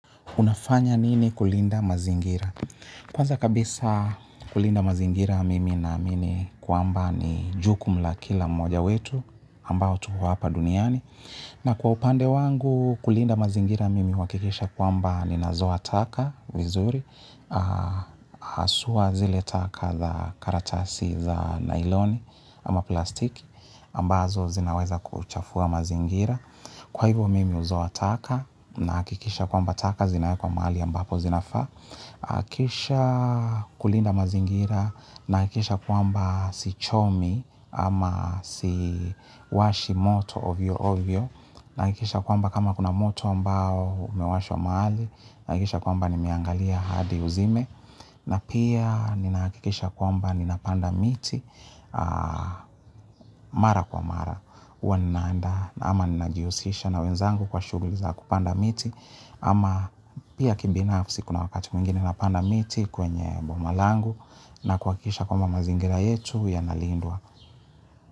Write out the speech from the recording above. Unafanya nini kulinda mazingira? Kwanza kabisa kulinda mazingira mimi naamimi kwamba ni jukumu la kila mmoja wetu ambao tuko hapa duniani. Na kwa upande wangu kulinda mazingira mimi huhakikisha kwamba ninazoa taka vizuri. Haswa zile taka za karatasi za nailoni ama plastiki ambazo zinaweza kuchafua mazingira. Kwa hivyo mimi huzoa taka, nahakikisha kwamba taka zinaekwa mahali ambapo zinafaa. Kisha kulinda mazingira nahakikisha kwamba sichomi ama siwashi moto ovyo ovyo. Nahakikisha kwamba kama kuna moto ambao umewashwa mahali nahakikisha kwamba nimeangalia hadi uzime. Na pia ninahakikisha kwamba ninapanda miti mara kwa mara hywa naandaa ama najihusisha na wenzangu kwa shuguli za kupanda miti ama pia kibinafsi kuna wakati mwingine napanda miti kwenye boma langu. Nakuhakikisha kwamba mazingira yetu yanalindwa.